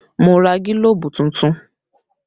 Mo ra gílóbú tuntun